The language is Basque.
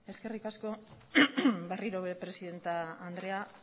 eskerrik asko berriro ere presidente andrea